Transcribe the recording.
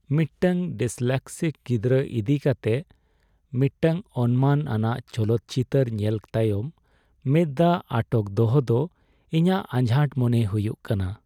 ᱢᱤᱫᱴᱟᱝ ᱰᱤᱥᱞᱮᱠᱥᱤᱠ ᱜᱤᱫᱽᱨᱟᱹ ᱤᱫᱤ ᱠᱟᱛᱮ ᱢᱤᱫᱴᱟᱝ ᱚᱱᱢᱟᱱ ᱟᱱᱟᱜ ᱪᱚᱞᱚᱛ ᱪᱤᱛᱟᱹᱨ ᱧᱮᱞ ᱛᱟᱭᱚᱢ ᱢᱮᱫ ᱫᱟᱜ ᱟᱴᱚᱠ ᱫᱚᱦᱚ ᱫᱚ ᱤᱧᱟᱹᱜ ᱟᱡᱷᱟᱴ ᱢᱚᱱᱮ ᱦᱩᱭᱩᱜ ᱠᱟᱱᱟ ᱾